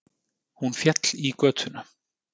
Hún féll í götuna